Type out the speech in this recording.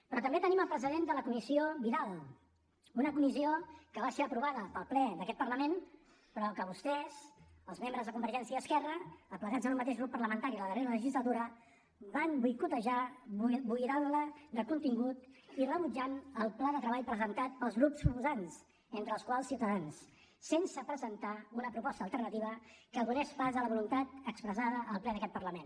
però també tenim el precedent de la comissió vidal una comissió que va ser aprovada pel ple d’aquest parlament però que vostès els membres de convergència i esquerra aplegats en un mateix grup parlamentari la darrera legislatura van boicotejar buidant la de contingut i rebutjant el pla de treball presentat pels grups proposants entre els quals ciutadans sense presentar una proposta alternativa que donés pas a la voluntat expressada al ple d’aquest parlament